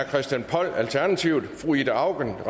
christian poll ida auken